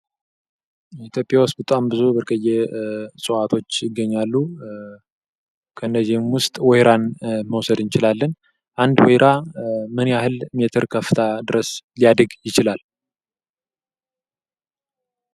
ኢትዮጵያ ዉስጥ ብዙ ብርቅየ እጽዋቶች ይገኛሉ። ከነዚህም ውስጥ ወይራን መውሰድ እንችላለን። አንድ ወይራ ምን ያህል ሜትር ከፍታ ድረስ ሊያድግ ይችላል?